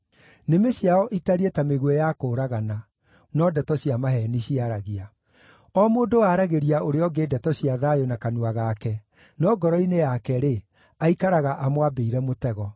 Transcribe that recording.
Nĩmĩ ciao itariĩ ta mĩguĩ ya kũũragana; no ndeto cia maheeni ciaragia. O mũndũ aaragĩria ũrĩa ũngĩ ndeto cia thayũ na kanua gake, no ngoro-inĩ yake-rĩ, aikaraga amwambĩire mũtego.”